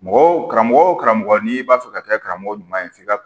Mɔgɔ wo karamɔgɔ wo karamɔgɔ n'i b'a fɛ ka kɛ karamɔgɔ ɲuman ye f'i ka